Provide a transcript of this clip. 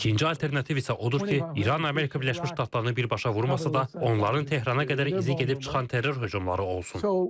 İkinci alternativ isə odur ki, İran Amerika Birləşmiş Ştatlarını birbaşa vurmasa da, onların Tehrana qədər izi gedib çıxan terror hücumları olsun.